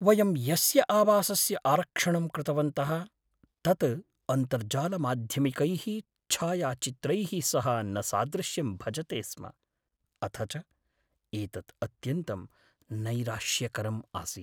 वयं यस्य आवासस्य आरक्षणं कृतवन्तः तत् अन्तर्जालमाध्यमिकैः छायाचित्रैः सह न सादृश्यं भजते स्म, अथ च एतत् अत्यन्तं नैराश्यकरम् आसीत्।